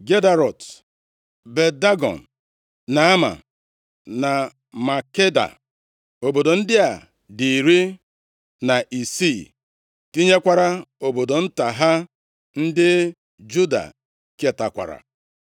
Gederọt, Bet-Dagọn, Naama na Makeda. Obodo ndị a dị iri na isii, tinyekwara obodo nta ha. Ndị Juda ketakwara: